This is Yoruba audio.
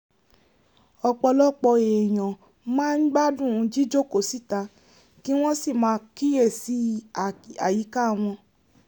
ọ̀pọ̀lọpọ̀ èèyàn máa ń gbádùn jíjókòó síta kí wọ́n sì máa kíyèsí àyíká wọn